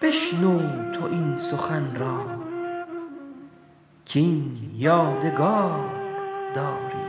بشنو تو این سخن را کاین یادگار داری